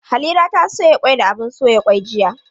Halira ta soya kwai da abun soya kwai jiya.